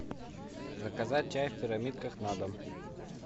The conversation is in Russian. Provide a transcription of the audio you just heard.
заказать чай в пирамидках на дом